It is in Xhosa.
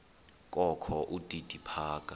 kokho udidi phaka